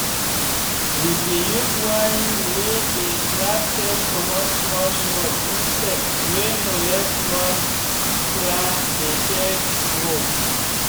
we dey use wine wey dey slap take comot small small insects wey no let small plants dem take grow.